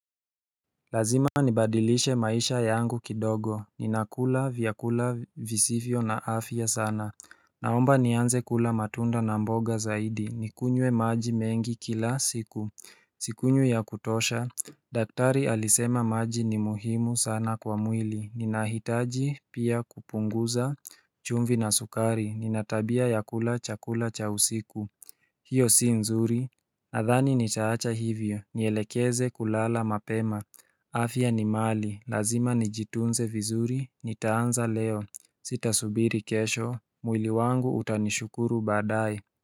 Lazima nibadilishe maisha yangu kidogo, ninakula vyakula visivyo na afya sana Naomba nianze kula matunda na mboga zaidi, nikunywe maji mengi kila siku Sikunywi ya kutosha daktari alisema maji ni muhimu sana kwa mwili, ninahitaji pia kupunguza chumvi na sukari, nina tabia ya kula chakula cha usiku hiyo si nzuri Nadhani nitaacha hivyo, nielekeze kulala mapema afya ni mali, lazima nijitunze vizuri, nitaanza leo, sitasubiri kesho, mwili wangu utanishukuru baadae.